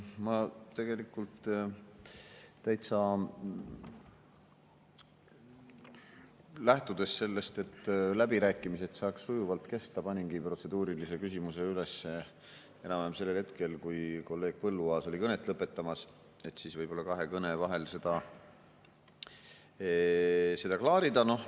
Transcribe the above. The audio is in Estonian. Ma tegelikult täitsa lähtudes sellest, et läbirääkimised saaks sujuvalt kesta, paningi protseduurilise küsimuse üles enam-vähem sellel hetkel, kui kolleeg Põlluaas oli kõnet lõpetamas, et siis võib-olla kahe kõne vahel seda klaarida.